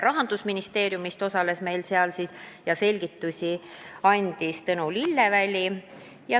Rahandusministeeriumist osales ja andis selgitusi Tõnu Lillelaid.